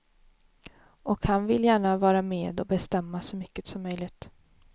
Och han vill gärna vara med och bestämma så mycket som möjligt.